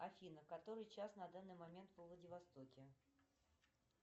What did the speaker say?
афина который час на данный момент во владивостоке